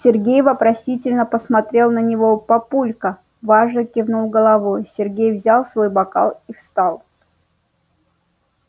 сергей вопросительно посмотрел на него папулька важно кивнул головой сергей взял свой бокал и встал